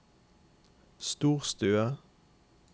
storstue